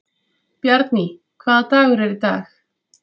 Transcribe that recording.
Bjarný, hvaða dagur er í dag?